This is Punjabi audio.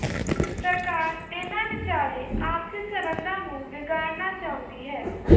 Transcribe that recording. ਸਰਕਾਰ ਇਨ੍ਹਾਂ ਵਿਚਾਲੇ ਆਪਸੀ ਸੰਬੰਧਾਂ ਨੂੰ ਵਿਗਾੜਨਾ ਚਾਹੁੰਦੀ ਹੈ